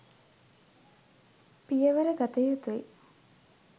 පියවර ගත යුතුයි